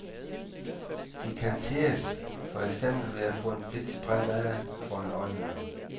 De kan tirres, for eksempel ved at få en blitz brændt af foran øjnene.